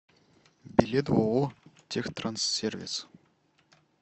билет ооо техтранссервис